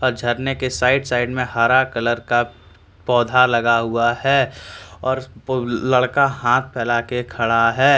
झरने के side side में हरा कलर का पौधा लगा हुआ है और लड़का हाथ फैलाकर खड़ा है।